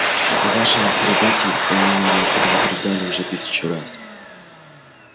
о вашем прибытии они меня предупреждали уже тысячу раз